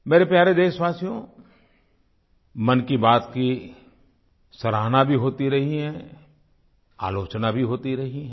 मेरे प्यारे देशवासियो मन की बात की सराहना भी होती रही है आलोचना भी होती रही है